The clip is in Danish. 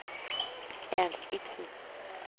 Ernst Ipsen